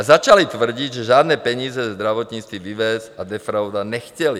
A začali tvrdit, že žádné peníze ze zdravotnictví vyvést a defraudovat nechtěli.